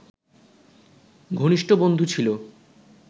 ঘনিষ্ট বন্ধু ছিল